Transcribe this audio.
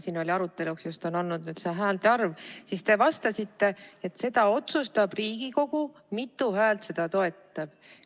Siin on aruteluks olnud häälte arv ja te vastasite, et seda otsustab Riigikogu, mitu häält seda eelnõu toetab.